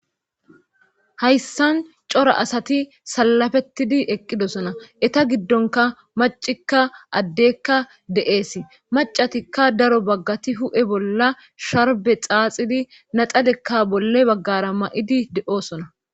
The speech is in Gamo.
hayssan cora asati salafettidi eqqidosona eta giddonka macikka addekka de7eesi macatikka daro baggati hu7e bolla sharbe xaaxidi naxalekka bolle baggara ma7idi de7oosona